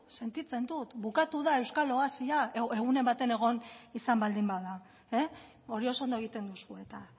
sentitzen dut bukatu da euskal oasia egunen baten egon izan baldin bada hori oso ondo egiten duzue eta